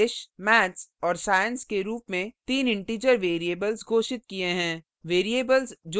फिर हमने english maths और science के रूप में then integer variables घोषित किये हैं